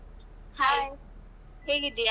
Hai ಹೇಗಿದ್ದಿಯಾ?